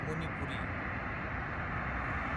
Manipuri